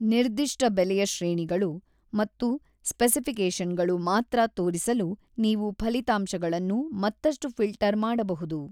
ನಿರ್ದಿಷ್ಟ ಬೆಲೆಯ ಶ್ರೇಣಿಗಳು ಮತ್ತು ಸ್ಪೆಸಿಪಿಕೇಷನ್‌ಗಳು ಮಾತ್ರ ತೋರಿಸಲು ನೀವು ಫಲಿತಾಂಶಗಳನ್ನು ಮತ್ತಷ್ಟು ಫಿಲ್ಟರ್ ಮಾಡಬಹುದು.